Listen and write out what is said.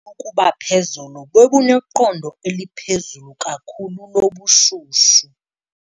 Ukuba phezolo bebuneqondo eliphezulu kakhulu lobushushu.